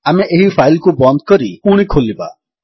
ଆମେ ଏହି ଫାଇଲ୍ କୁ ବନ୍ଦ କରି ପୁଣି ଖୋଲିବା